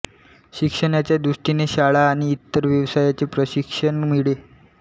शिक्षणाच्या दृष्टीने शाळा आणि इतर व्यवसायांचे प्रशिक्षण मिळे